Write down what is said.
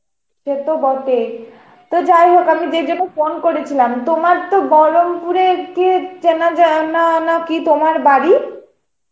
সে তো বটেই, তো যাই হোক আমি যে জন্য phone করেছিলাম তোমার তো বহরমপুরের একটি কি তোমার বাড়ি?